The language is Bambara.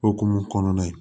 Okumu kɔnɔna ye